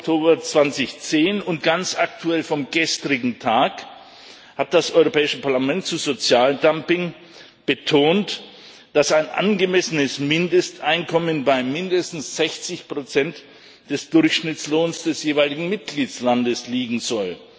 20. Oktober 2010 und ganz aktuell vom gestrigen Tag hat das Europäische Parlament zu Sozialdumping betont, dass ein angemessenes Mindesteinkommen bei mindestens 60 des Durchschnittslohns des jeweiligen Mitgliedstaats liegen soll.